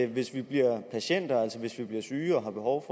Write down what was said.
hvis vi bliver patienter altså hvis vi bliver syge og har behov